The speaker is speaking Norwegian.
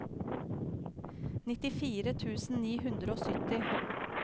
nittifire tusen ni hundre og sytti